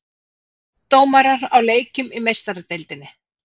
Fimm dómarar á leikjum í Meistaradeildinni